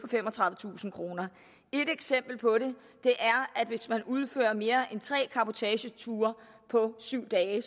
femogtredivetusind kroner et eksempel på det er hvis man udfører mere end tre cabotageture på syv dage det